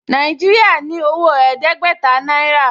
Nàìjíríà ní owó ẹ̀ẹ́dẹ́gbẹ̀ta náírà